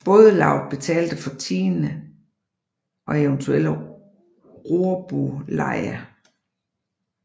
Bådelavet betalte for tienden og eventuelt rorbuleje